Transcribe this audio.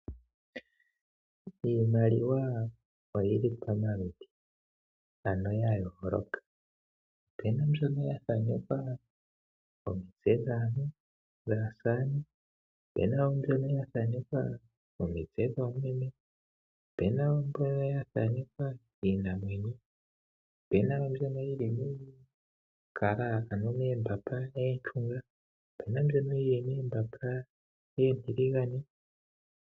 Iimaliwa oyili pomaludhi ano ya yooloka opena woo mbyono yathanekwa omitse dhaantu, opena mbyono yathanekwa omitse dhoomeme ,opena woo mbyono yathanekwa iinamwenyo opena mbyono yili moombanga oonshunga ,opena mbyono yili moombamba oontiligane.